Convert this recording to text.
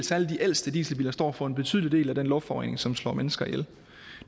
ældste dieselbiler står for en betydelig del af den luftforurening som slår mennesker ihjel